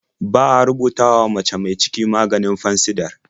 Ba a rubutawa mace mi ciki maganin Fansidar.